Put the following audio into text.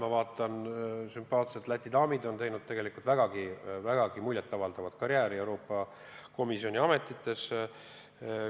Ma vaatan, sümpaatsed Läti daamid on teinud vägagi muljet avaldavat karjääri Euroopa Komisjoni ametites.